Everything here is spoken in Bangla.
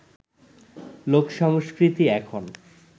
লোক সংস্কৃতি এখন